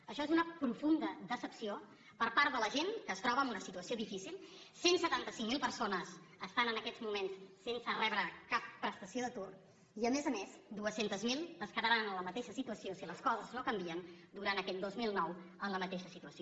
això és una profunda decepció per part de la gent que es troba en una situació difícil cent i setanta cinc mil persones estan en aquests moments sense rebre cap prestació d’atur i a més a més dos cents miler es quedaran en la mateixa situació si les coses no canvien durant aquest dos mil nou en la mateixa situació